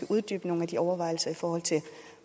uddybe nogle af de overvejelser i forhold til